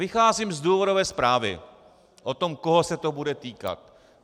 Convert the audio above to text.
Vycházím z důvodové zprávy o tom, koho se to bude týkat.